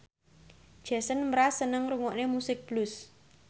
Jason Mraz seneng ngrungokne musik blues